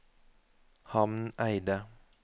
Hamneidet